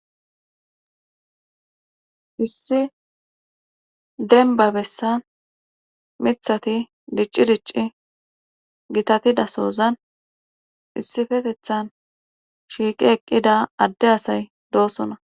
issi denba bessan mithati dicci dicci gitatida sozan issifetethan shiiqi eqqida adde asay doosona.